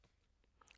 TV 2